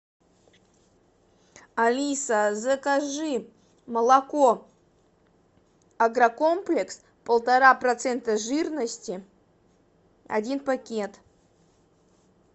алиса закажи молоко агрокомплекс полтора процента жирности один пакет